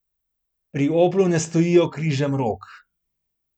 Pri Oplu ne stojijo križem rok.